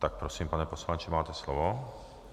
Tak prosím, pane poslanče, máte slovo.